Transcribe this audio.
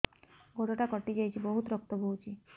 ଗୋଡ଼ଟା କଟି ଯାଇଛି ବହୁତ ରକ୍ତ ବହୁଛି